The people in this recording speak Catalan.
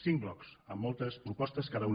cinc blocs amb moltes propostes cada un